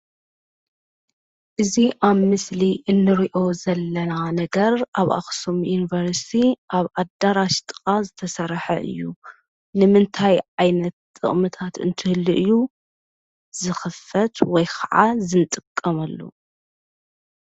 እዚ ኣብ ምስሊ እንሪኦ ዘለና ነገር ኣብ ኣኽሱም ዩኒቨርሲቲ ኣብ ኣዳራሽ ጥቓ ዝተሰርሐ እዩ፡፡ ንምንታይ ዓይነት ጥቕምታት እንተህልይ እዩ ዝኽፈት? ወይ ኸዓ ዝጥቀሙሉ?